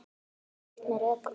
Sagt með rökum frá.